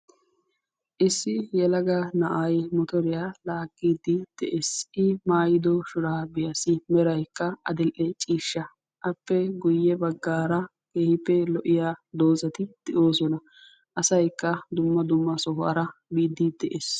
Issi yelaga na'ay motoriya laaggiiddi de'es. I maayido shuraabiyassi merayikka adil'e ciishsha. Appe guyye baggaara keehippe lo'iya dozati de'oosona. Asayikka dumma dumma sohuwara biiddi de'es.